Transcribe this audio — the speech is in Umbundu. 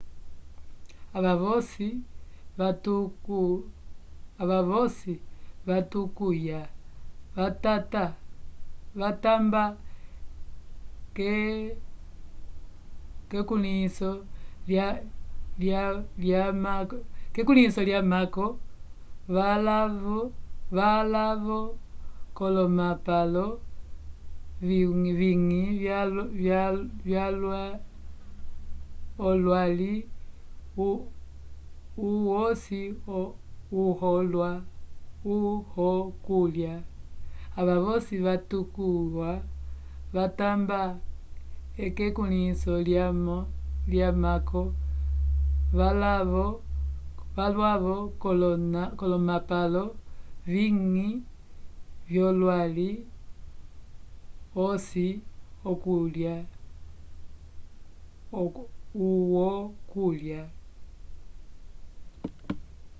ava voci vatukwya vatamba kekwĩlinso lyamako valavo colomapalo viwingi olwalli uhoci uhokulya